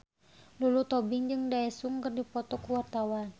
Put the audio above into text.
Lulu Tobing jeung Daesung keur dipoto ku wartawan